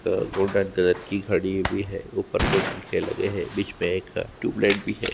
ग ग golden colour की घड़ी भी है ऊपर दो पंखे भी लगे हुए है बीच में एक टियूबलाइट भी है।